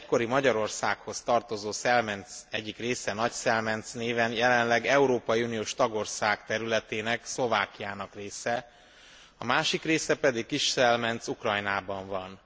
Az egykori Magyarországhoz tartozó Szelmenc egyik része Nagyszelmenc néven jelenleg európai uniós tagország területének, Szlovákiának része, a másik része pedig, Kisszelmenc, Ukrajnában van.